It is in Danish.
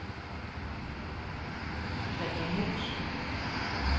Walter Moos